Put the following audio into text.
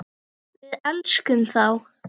Við elskum þá.